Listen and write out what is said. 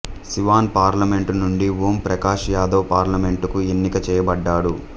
Siwan parliament నుండి ఓం ప్రకాష్ యాదవ్ పార్లమెంటుకు ఎన్నిక చేయబడ్డాడు